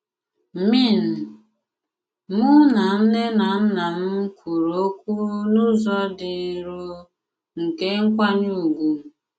Mìn: “Mụ nà nnè nà nnà m kwụrụ òkwù n'ụzọ dị nrò, nkè nkwànyè ùgwù.